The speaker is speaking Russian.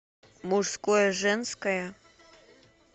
мужское женское